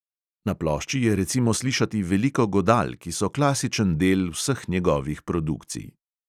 Na plošči je recimo slišati veliko godal, ki so klasičen del vseh njegovih produkcij.